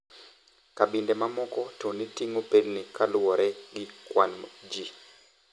Kabinde mamoko to ne ting`o pelni kaluwore gi kwan ji.